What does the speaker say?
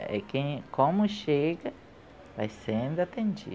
É quem, como chega, vai sendo